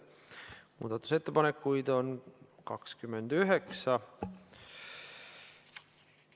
Muudatusettepanekuid on 29.